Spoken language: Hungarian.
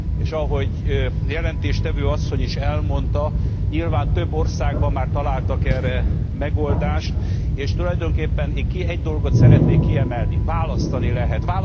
És ahogy jelentéstevő asszony is elmondta, nyilván több országban találtak erre megoldást, és tulajdonképpen én egy dolgot szeretnék kiemelni választani lehet.